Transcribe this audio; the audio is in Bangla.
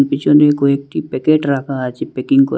পিছনে কয়েকটি প্যাকেট রাখা আছে প্যাকিং কর--